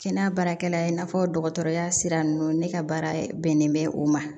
Kɛnɛya baarakɛla i n'a fɔ dɔgɔtɔrɔya sira ninnu ne ka baara bɛnnen bɛ o ma